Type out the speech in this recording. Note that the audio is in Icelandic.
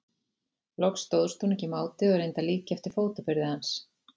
Loks stóðst hún ekki mátið og reyndi að líkja eftir fótaburði hans.